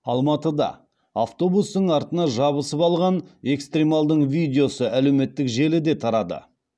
алматыда автобустың артына жабысып алған экстремалдың видеосы әлеуметтік желіде тарады